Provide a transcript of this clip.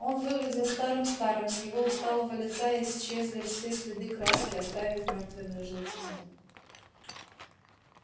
он выглядел старым-старым с его усталого лица исчезли все следы краски оставив мертвенную желтизну